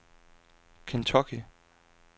Kentucky